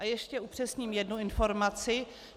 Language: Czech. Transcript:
A ještě upřesním jednu informaci.